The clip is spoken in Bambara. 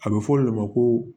A bɛ fɔ o de ma ko